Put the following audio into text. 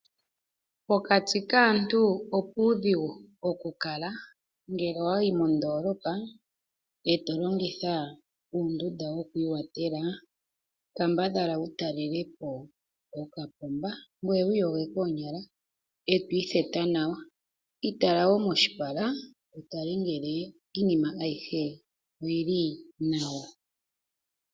Pokati kaantu opuudhigu okukala ngele owayi mo ndoolopa eto longitha uundunda wikwiiwatela kambadhala wu talelepo okapomba ngweye wiiyoge koonyala eetwiitheta nawa, itala wo moshipala wutale ngele iinima ayihe oyili nawa.